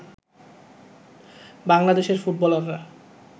বাংলাদেশের ফুটবলাররা